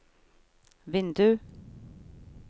vindu